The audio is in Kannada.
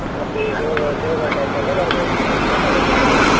ಮತ್ತೆ ಜೋಗ ಜೋಗ type ಎಲ್ಲ ಬರ್ಬೇಕು ಮಾರ್ರೆ photography ಗ್ ಎಲ್ಲಾ.